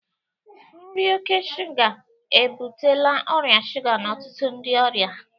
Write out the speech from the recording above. Nri oke shuga ebutela ọrịa shuga n'ọtụtụ ndị ọrịa